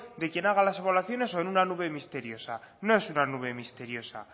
de quien haga las evaluaciones o en una nube misteriosa no es una nube misteriosa